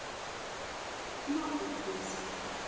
Norðurhlíð